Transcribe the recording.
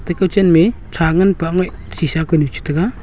ekao chenmeh thra nganpa ngoui shisa koinu chi tega.